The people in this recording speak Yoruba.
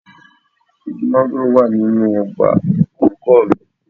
Igi máńgòrò wà nínú ọgbà olùkọ́ mi